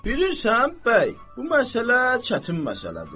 Bilirsən, bəy, bu məsələ çətin məsələdir.